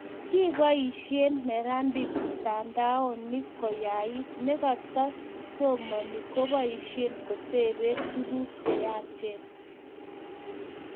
kiboisien neranik mitandaonik ko yait, na katu somani koboisie kotoben tuguk che yaachen